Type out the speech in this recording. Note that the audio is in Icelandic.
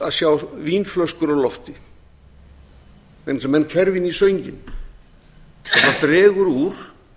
að sjá vínflöskur á lofti vegna þess að menn hverfa inn í sönginn það dregur úr